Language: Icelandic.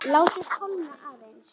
Látið kólna aðeins.